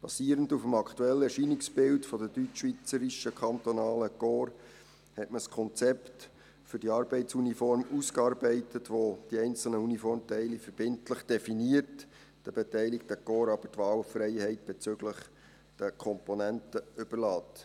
Basierend auf dem aktuellen Erscheinungsbild der deutschschweizerischen kantonalen Korps hat man ein Konzept für die Arbeitsuniform ausgearbeitet, welches die einzelnen Uniformteile verbindlich definiert, den beteiligten Korps aber die Wahlfreiheit bezüglich der Komponenten überlässt.